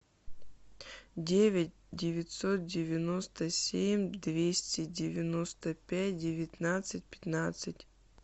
девять девятьсот девяносто семь двести девяносто пять девятнадцать пятнадцать